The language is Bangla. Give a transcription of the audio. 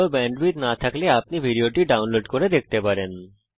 ভাল ব্যান্ডউইডথ না থাকলে আপনি ভিডিওটি ডাউনলোড করে দেখতে পারেন